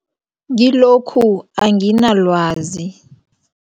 Kilokhu anginalwazi.